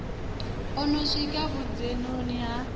o no swika vhudzhenoni ha